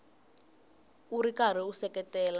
u ri karhi u seketela